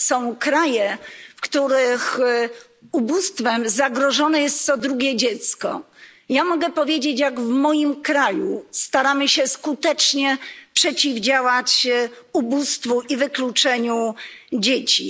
są kraje, w których ubóstwem zagrożone jest co drugie dziecko. Ja mogę powiedzieć, jak w moim kraju staramy się skutecznie przeciwdziałać ubóstwu i wykluczeniu dzieci.